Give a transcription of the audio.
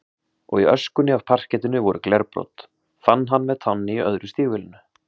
Og í öskunni af parkettinu voru glerbrot, fann hann með tánni á öðru stígvélinu.